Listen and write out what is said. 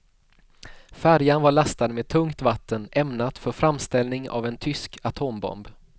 Färjan var lastad med tungt vatten ämnat för framställning av en tysk atombomb.